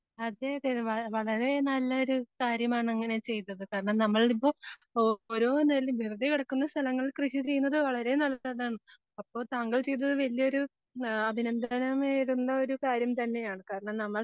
അതെയതെ വാ, വളരെ നല്ലൊരു കാര്യമാണ് അങ്ങനെ ചെയ്തത്. കാരണം, നമ്മളിപ്പോ ഓരോ നിലവും വെറുതെ കെടക്കുന്ന സ്ഥലങ്ങൾ കൃഷി ചെയ്യുന്നത് വളരെയധികം നല്ലതാണ്. അപ്പോ താങ്കൾ ചെയ്തത് വല്ല്യൊരു ആഹ് അഭിനന്ദനം നേരുന്നൊരു കാര്യം തന്നെയാണ്. കാരണം, നമ്മൾ